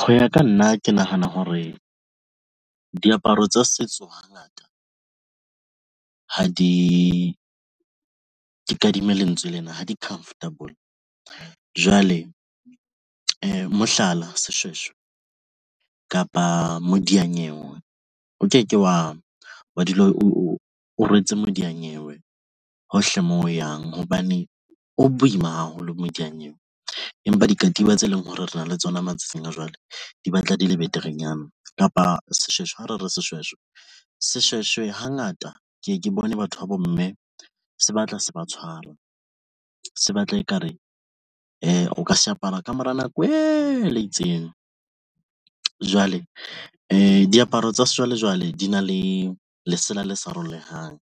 Ho ya ka nna ke nahana hore diaparo tsa setso hangata ha di ke kadima lentswe lena ha di comfortable. Jwale, mohlala, seshweshwe kapa modianyewe o ke ke wa wa dula o rwetse modiyanyewe hohle moo o yang hobane o boima haholo modianyewe. Empa dikatiba tse leng hore re na le tsona matsatsing a jwale, di batla di le beterenyana kapa seshweshwe ho re re seshweshwe seshweshwe. Hangata keye ke bone batho babo, mme se batla se ba tshwara se batla ekare ha o ka se apara kamora nako e le itseng, jwale di diaparo tsa sejwalejwale di na le lesela le sa hlolehang